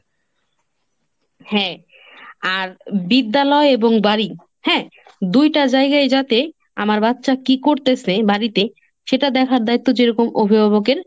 হ্যাঁ আর বিদ্যালয় এবং বাড়ি, হ্যাঁ, দুইটা জায়গায় যাতে আমার বাচ্চা কি করতেসে বাড়িতে সেটা দেখার দায়িত্ব যেরকম অভিভাবকের,